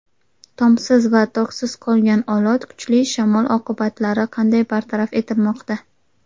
Tomsiz va toksiz qolgan Olot: kuchli shamol oqibatlari qanday bartaraf etilmoqda?.